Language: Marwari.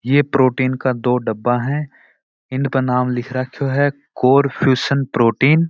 ये प्रोटीन का दो डब्बा है इन पर नाम लिख राखो है कोरफ्यूज़न प्रोटीन ।